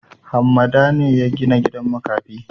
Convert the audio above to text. Hammada ne ya gina gidan makafi?